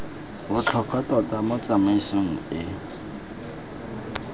botlhokwa tota mo tsamaisong e